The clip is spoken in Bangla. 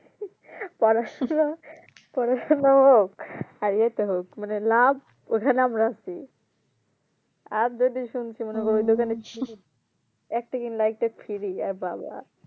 পড়াশোনা পড়াশোনা হোক আর ইয়েতে হোক মানে লাভ ওখানে আমরা আছি, আর যদি শুনছি মনে করো ওই দোকানে একটা কিনলে আরেকটা ফ্রি এ্যা বাবা